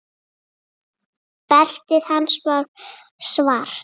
Beltið hans var svart.